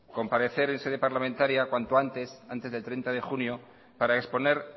comparecer en sede parlamentaria cuanto antes antes del treinta de junio para exponer